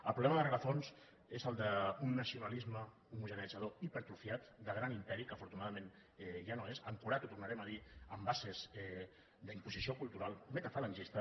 el problema de rerefons és el d’un nacionalisme homogeneïtzador hipertrofiat de gran imperi que afortunadament ja no és ancorat ho tornarem a dir en bases d’imposició cultural metafalangista